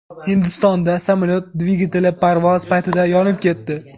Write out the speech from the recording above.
Hindistonda samolyot dvigateli parvoz paytida yonib ketdi.